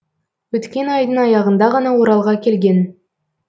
өткен айдың аяғында ғана оралға келген